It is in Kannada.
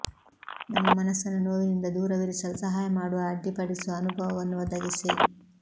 ನಮ್ಮ ಮನಸ್ಸನ್ನು ನೋವಿನಿಂದ ದೂರವಿರಿಸಲು ಸಹಾಯ ಮಾಡುವ ಅಡ್ಡಿಪಡಿಸುವ ಅನುಭವವನ್ನು ಒದಗಿಸಿ